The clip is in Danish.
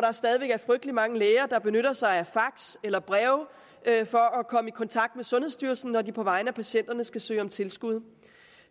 der stadig væk er frygtelig mange læger der benytter sig af fax eller breve for at komme i kontakt med sundhedsstyrelsen når de på vegne af patienterne skal søge om tilskud